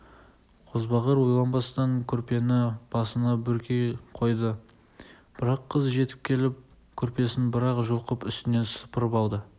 қозбағар ойланбастан көрпені басына бүркей қойды бірақ қыз жетіп келіп көрпесін бір-ақ жұлқып үстінен сыпырып алды